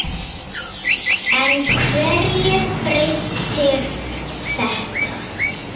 En hverju breytir þetta?